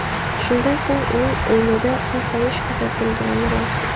Shundan so‘ng uning o‘yinida pasayish kuzatilgani rost.